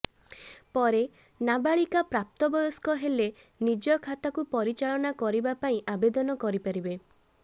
ପରେ ନାବାଳିକା ପ୍ରାପ୍ତ ବୟସ୍କ ହେଲେ ନିଜେ ଖାତାକୁ ପରିଚାଳନା କରିବା ପାଇଁ ଆବେଦନ କରିପାରିବେ